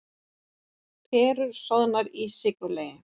Perur soðnar í sykurlegi